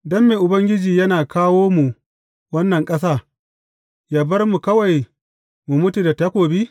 Don me Ubangiji yana kawo mu wannan ƙasa yă bar mu kawai mu mutu da takobi?